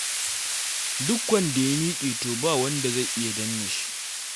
Duk wanda ya miƙe to ba wanda zai iya danne shi.